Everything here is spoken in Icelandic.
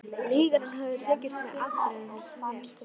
Lygarnar höfðu tekist með afbrigðum vel.